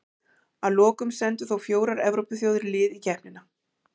Að lokum sendu þó fjórar Evrópuþjóðir lið í keppnina.